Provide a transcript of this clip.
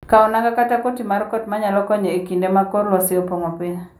Kaw nanga kata koti mar kot ma nyalo konyo e kinde ma kor lwasi okwako piny.